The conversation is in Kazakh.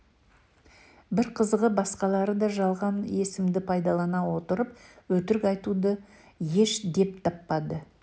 бір қызығы басқалары да жалған есімді пайдалана отырып өтірік айтуды еш деп таппады